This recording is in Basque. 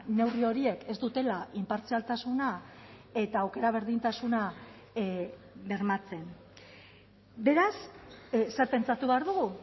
neurri horiek ez dutela inpartzialtasuna eta aukera berdintasuna bermatzen beraz zer pentsatu behar dugu